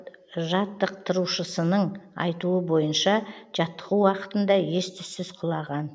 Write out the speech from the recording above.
жаттықтырушысының айтуы бойынша жаттығу уақытында ес түссіз құлаған